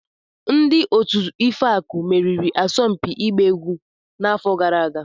Ndị otu Ifeaku meriri asọmpi ịgba egwu n'afọ gara aga.